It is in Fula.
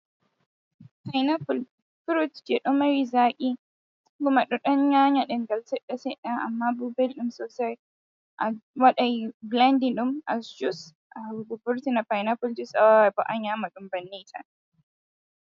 Paynapul furut je ɗo mari zaaki kuma ɗo ɗan yanya ɗemngal seɗɗa-seɗɗa, amma bo belɗum sosai, awaɗai bilandin ɗum as jus a vurtina paynapul jus, awaaway bo a nyaamaɗum banni tan.